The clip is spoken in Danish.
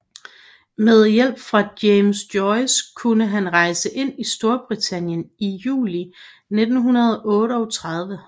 Med hjælp fra James Joyce kunne han rejse ind i Storbritannien i juli 1938